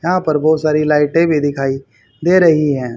यहाँ पर बहोत सारी लाइटे भी दिखाई दे रही हैं।